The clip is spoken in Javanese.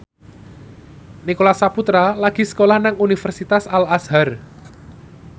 Nicholas Saputra lagi sekolah nang Universitas Al Azhar